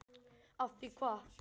Af því hvað?